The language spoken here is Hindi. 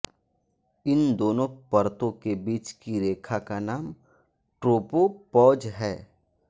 इन दोनों परतों के बीच की रेखा का नाम ट्रोपोपौज़ है